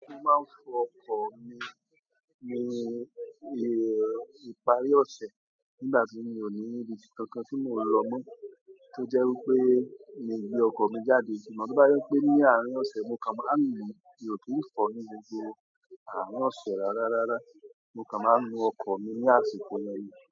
Mo máa ń fọ ọkọ̀ mi ní, ní ìparí ọ̀sẹ̀ nígbà tí mi ò ní ibi kankan tí mò ń lọ mọ́, tó jẹ́ wípé mi ò gbé ọkọ̀ mi jáde. Ṣùgbọ́n ti bá je pé ní àárín ọ̀sẹ̀, mo kàn máa ń nu, mi ò kí ń fọ ní gbogbo àárín ọ̀sẹ̀ rárá rárá. Mo kàn máa ń nu ọkọ̀ mi ní àsìkò yìí.